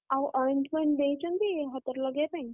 ଆଉ ointment ଦେଇଛନ୍ତି ହାତରେ ଲଗେଇବା ପାଇଁ?